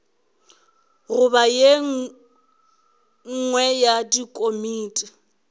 goba ye nngwe ya dikomiti